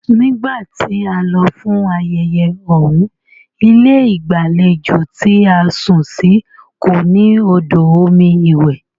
Nígbà tí a lọ fún ayẹyẹ ọ̀uń, ilé ìgbàlejò tí a sùn sí kò ní òdò omi iwẹ̀.